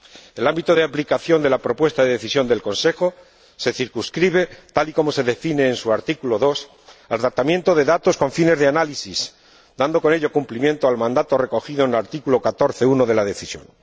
El ámbito de aplicación de la propuesta de Decisión del Consejo se circunscribe, tal y como se define en su artículo 2, al tratamiento de datos con fines de análisis, dando con ello cumplimiento al mandato recogido en el artículo 14, apartado 1, de la Decisión.